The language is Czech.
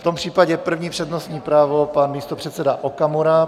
V tom případě první přednostní právo, pan místopředseda Okamura.